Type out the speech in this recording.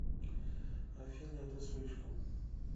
афина это слишком